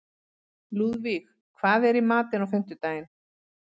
Lúðvíg, hvað er í matinn á fimmtudaginn?